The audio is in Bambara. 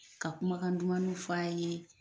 Ka kumakan dumanuw fɔ'a yee